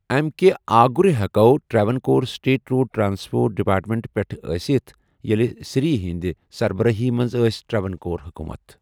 امیٚکہِ آگُر ہٮ۪کَو Travancore state road transport ڈپارٹمنٹہٕ پٮ۪ٹھٕ ٲسِتھ، ییٚلہِ سری ہٕنٛدِ سربرٲہی منٛز ٲس ٹراوانکور حکوٗمت۔